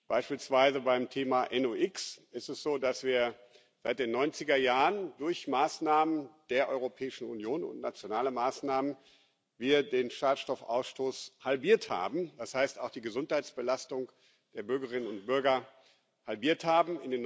Beispielsweise beim Thema NOx ist es so, dass wir seit den 90er Jahren durch Maßnahmen der Europäischen Union und nationale Maßnahmen den Schadstoffausstoß halbiert haben, das heißt, auch die Gesundheitsbelastung der Bürgerinnen und Bürger halbiert haben.